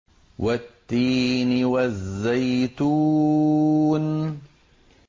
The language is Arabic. وَالتِّينِ وَالزَّيْتُونِ